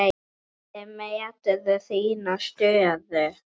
Hvernig meturðu þína stöðu?